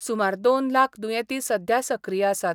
सुमार दोन लाख दुयेंती सध्या सक्रीय आसात.